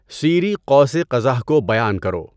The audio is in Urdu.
سیری قوس قزح کو بیان کرو